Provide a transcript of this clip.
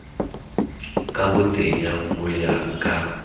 ka botenya ho ya ka